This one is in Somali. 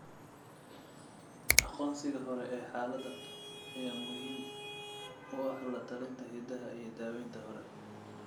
Aqoonsiga hore ee xaaladdan ayaa muhiim u ah la-talinta hiddaha iyo daaweynta hore.